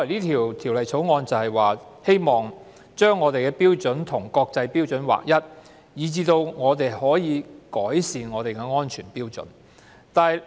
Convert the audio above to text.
《條例草案》的原意是要使香港的標準與國際標準一致，從而改善香港的安全標準。